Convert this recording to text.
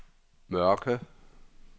Mørke